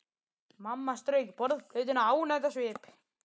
Mamma strauk borðplötuna ánægð á svip.